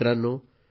मित्रांनो